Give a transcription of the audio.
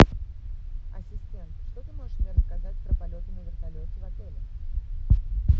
ассистент что ты можешь мне рассказать про полеты на вертолете в отеле